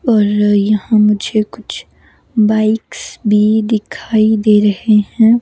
और यहां मुझे कुछ बाइक्स भी दिखाई दे रहे हैं।